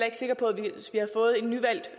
ikke sikker på